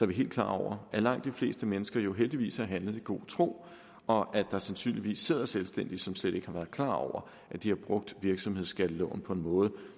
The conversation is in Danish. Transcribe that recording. vi helt klar over at langt de fleste mennesker jo heldigvis har handlet i god tro og at der sandsynligvis er selvstændige som slet ikke har været klar over at de har brugt virksomhedsskatteloven på en måde